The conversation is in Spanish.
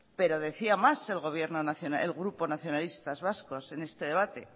pero decía más el grupo nacionalistas vascos en este debate